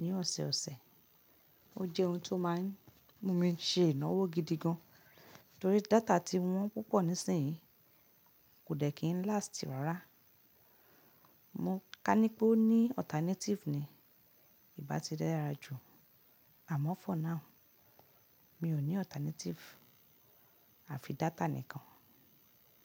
ní ọ̀sẹ̀ ọ̀sẹ̀. Ó jẹ́ ohun tó máa ń mú mi ṣe ìnáwó gidi gan torí data tí wọ́n púpọ̀ nísìnyí kò dẹ̀ kí ń last rárá. Mo kání pé ó ní alternative ni ì bá ti dára jù, àmọ́ for now mi ò ní alternative, a fi data nìkan.